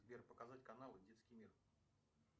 сбер показать каналы детский мир